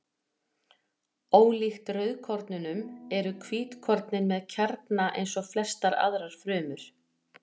Ólíkt rauðkornunum eru hvítkornin með kjarna eins og flestar aðrar frumur.